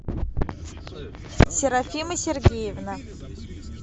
серафима сергеевна